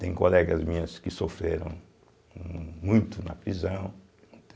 Tem colegas minhas que sofreram muito na prisão.